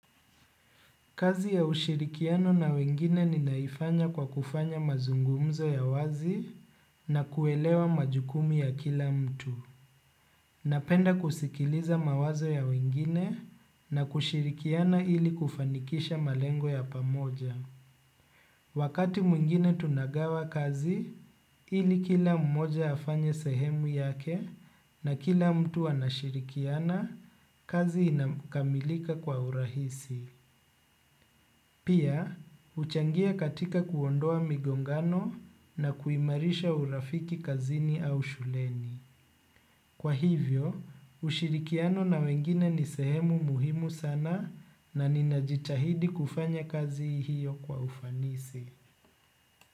Kazi ya ushirikiano na wengine ninaifanya kwa kufanya mazungumzo ya wazi na kuelewa majukumu ya kila mtu. Napenda kusikiliza mawazo ya wengine na kushirikiana ili kufanikisha malengo ya pamoja. Wakati mwingine tunagawa kazi ili kila mmoja afanye sehemu yake na kila mtu anashirikiana kazi inakamilika kwa urahisi. Pia, huchangia katika kuondoa migongano na kuimarisha urafiki kazini au shuleni. Kwa hivyo, ushirikiano na wengine ni sehemu muhimu sana na ninajitahidi kufanya kazi hiyo kwa ufanisi.